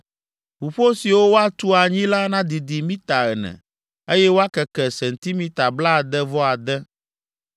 Ʋuƒo siwo woatu anyi la nadidi mita ene, eye woakeke sentimita blaade-vɔ-ade.